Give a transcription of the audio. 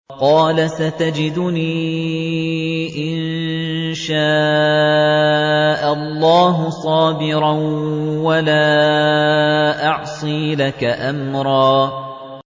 قَالَ سَتَجِدُنِي إِن شَاءَ اللَّهُ صَابِرًا وَلَا أَعْصِي لَكَ أَمْرًا